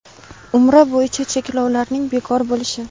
Umra bo‘yicha cheklovlarning bekor bo‘lishi.